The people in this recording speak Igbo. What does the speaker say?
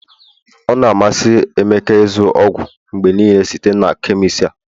ọ na-amasị emeka ịzụ ọgwụ mgbe niile site na chemist a